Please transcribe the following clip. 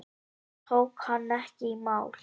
Það tók hann ekki í mál.